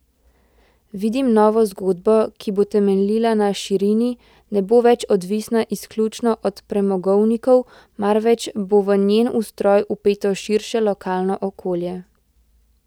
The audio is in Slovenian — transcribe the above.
Vidim novo zgodbo, ki bo temeljila na širini, ne bo več odvisna izključno od premogovnikov, marveč bo v njen ustroj vpeto širše lokalno okolje.